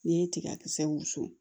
N'i ye tigakisɛ wusu